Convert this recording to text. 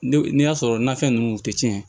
Ne n'a sɔrɔ nafɛn ninnu tɛ tiɲɛ